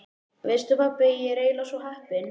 Veistu pabbi, ég er eiginlega svo heppin.